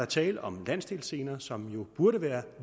tale om landsdelsscener som jo burde være